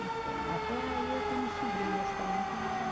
Então, até aí eu tenho sobrinhas também que mora